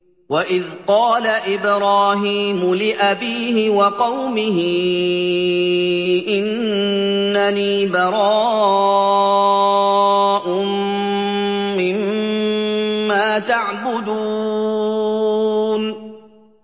وَإِذْ قَالَ إِبْرَاهِيمُ لِأَبِيهِ وَقَوْمِهِ إِنَّنِي بَرَاءٌ مِّمَّا تَعْبُدُونَ